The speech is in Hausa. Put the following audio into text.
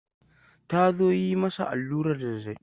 Ta zo yi masa allurar zazzabi.